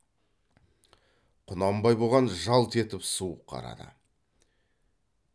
құнанбай бұған жалт етіп суық қарады